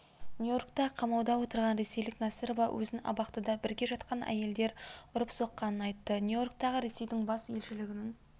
нью-йоркта қамауда отырған ресейлік насырова өзін абақтыда бірге жатқан әйелдер ұрып-соққанын айтты нью-йорктағы ресейдің бас елшілігінің